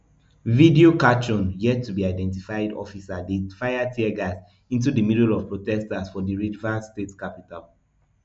video catchone yet to be identified officer dey fire teargas into di middle of prostesters for di rivers state capital